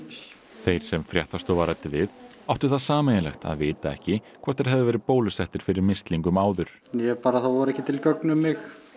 þeir sem fréttastofa ræddi við áttu það sameiginlegt að vita ekki hvort þeir hefðu verið bólusettir fyrir mislingum áður ég er bara það voru ekki til gögn um mig